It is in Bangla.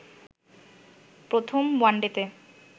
প্রথম ওয়ানডেতে